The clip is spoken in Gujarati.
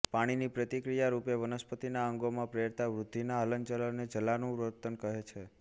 પાણીની પ્રતિક્રિયારૂપે વનસ્પતિનાં અંગોમાં પ્રેરાતા વૃદ્ધિના હલનચલનને જલાનુવર્તન કહે છે